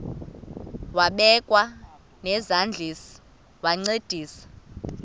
wabekwa nezandls wancedisa